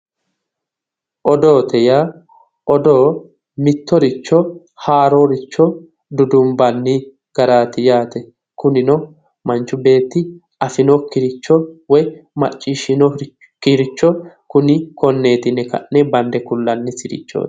Odoote yaa odoo mittoricho haarooricho dudumbanni garaati yaate. Kunino manchi beetti afinokkiricho woyi maccishshinokkiricho kuni konneeti yine ka'ne bande kullannisirichooti.